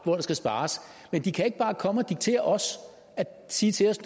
hvor der skal spares men de kan ikke bare komme og diktere os og sige til os